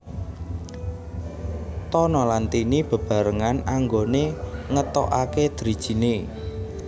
Tono lan Tini beberangan anggone ngetokake drijine